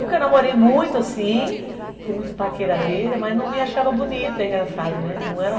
Nunca namorei muito assim, fui muito paqueradeira, mas não me achava bonita, é engraçado, né? Não era